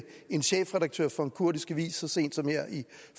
en chefredaktør for en kurdisk avis så sent som her i